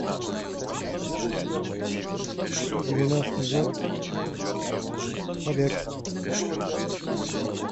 девяностый год побег